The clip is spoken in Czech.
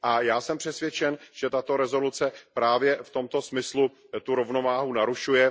Já jsem přesvědčen, že tato rezoluce právě v tomto smyslu tu rovnováhu narušuje.